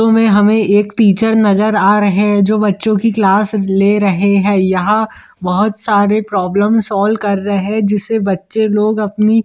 तुम्हें हमें एक टीचर नजर आ रहे है जो बच्चों की क्लास ले रहे है यहाँ बहुत सारी प्रॉबलम सॉल्व कर रहे जिससे बच्चे लोग अपनी --